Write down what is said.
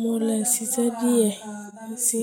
mo lè ṣiṣẹ́ díẹ̀ sí.